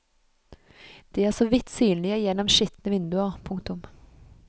De er så vidt synlige gjennom skitne vinduer. punktum